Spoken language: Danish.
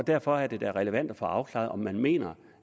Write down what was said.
derfor er det da relevant at få afklaret om man mener